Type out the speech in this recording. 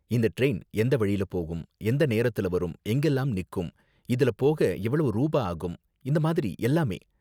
இந்த டிரைன் எந்த வழில போகும், எந்த நேரத்துல வரும், எங்கெல்லாம் நிக்கும், இதுல போக எவ்ளோ ரூபா ஆகும், இந்த மாதிரி எல்லாமே.